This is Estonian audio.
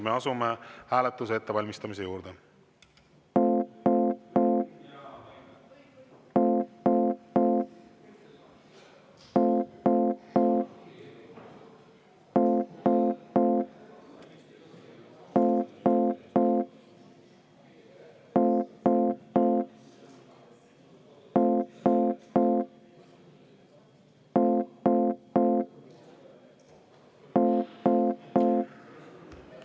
Me asume hääletuse ettevalmistamise juurde.